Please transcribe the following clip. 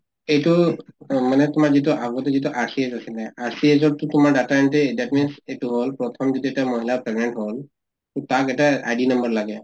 এইটো মানে যিটো তোমাৰ আগতে যিটো RCS আছিল, RCS তো তোমাৰ data entry that means এইটো হʼল প্ৰথম যদি মহিলা pregnant হʼল, তাক এটা id number লাগে